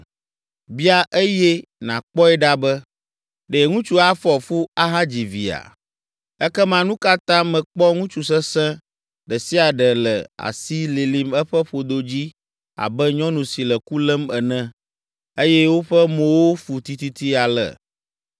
Bia eye nàkpɔe ɖa be, Ɖe ŋutsu afɔ fu ahadzi via? Ekema, nu ka ta mekpɔ ŋutsu sesẽ ɖe sia ɖe le asi lilim eƒe ƒodo dzi abe nyɔnu si le ku lém ene, eye woƒe mowo fu tititi ale?